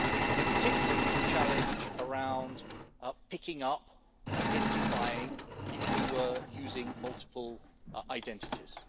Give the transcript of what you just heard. In particular, there was a challenge surrounding picking up, identifying people who were using multiple identities.